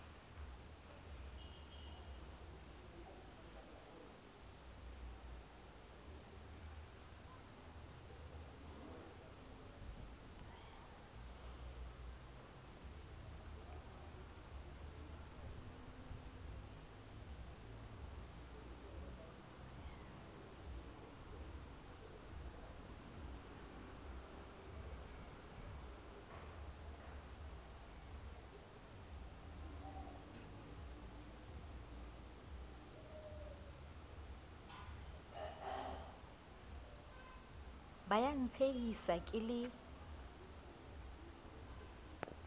ba ya ntshehisa ke le